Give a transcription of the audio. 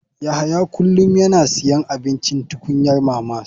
Yahya kullum yana siyan abincin tukunyar mamas.